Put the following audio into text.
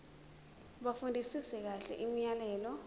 bafundisise kahle imiyalelo